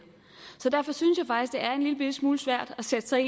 er en lille bitte smule svært at sætte sig